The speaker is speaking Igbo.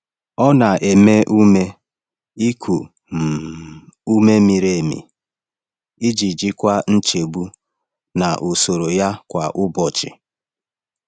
Ọ na-eme ume iku um ume miri emi iji jikwaa nchegbu na usoro ya kwa ụbọchị.